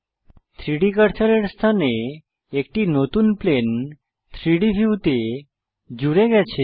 3ডি কার্সারের স্থানে একটি নতুন প্লেন 3ডি ভিউতে জুড়ে গেছে